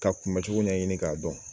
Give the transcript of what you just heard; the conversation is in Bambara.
Ka kunbɛ cogo ɲɛɲini ka dɔn.